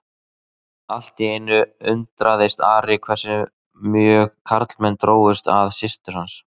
Allt í einu undraðist Ari hversu mjög karlmenn drógust að systur hans.